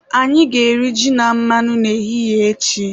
Anyị ga-eri ji na mmanụ n'ehihie echi